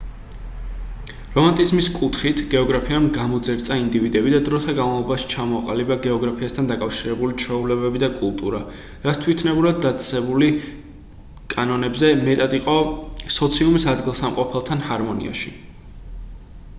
რომანტიციზმის კუთხით გეოგრაფიამ გამოძერწა ინდივიდები და დროთა განმავლობაში ჩამოყალიბდა გეოგრაფიასთან დაკავშირებული ჩვეულებები და კულტურა რაც თვითნებურად დაწესებული კანონებზე მეტად იყო სოციუმის ადგილსამყოფელთან ჰარმონიაში